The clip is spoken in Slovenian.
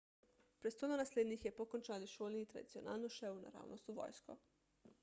prestolonaslednik je po končani šoli tradicionalno šel naravnost v vojsko